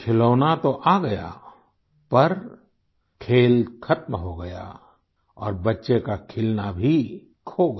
खिलौना तो आ गया पर खेल ख़त्म हो गया और बच्चे का खिलना भी खो गया